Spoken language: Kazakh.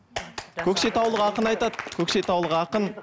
көкшетаулық ақын айтады көкшетаулық ақын